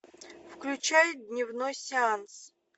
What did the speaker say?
включай дневной сеанс